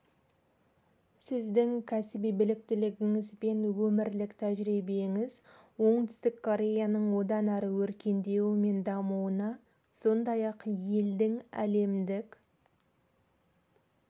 сіздің кәсіби біліктілігіңіз бен өмірлік тәжірибеңіз оңтүстік кореяның одан әрі өркендеуі мен дамуына сондай-ақ елдің әлемдік